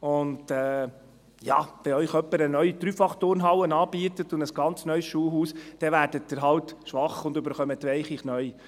Und ja, wenn Ihnen jemand eine neue Dreifachturnhalle anbietet und ein ganz neues Schulhaus, dann werden Sie halt schwach und bekommen weiche Knie.